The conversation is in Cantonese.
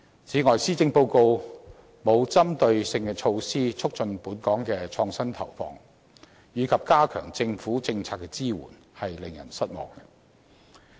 此外，施政報告沒有針對性措施，促進本港的創新投放或加強政府政策支援，是令人失望的。